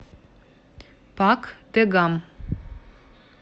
пак дэгам